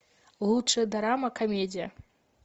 лучшая дорама комедия